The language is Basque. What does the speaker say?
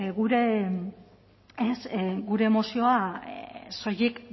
gure mozioa soilik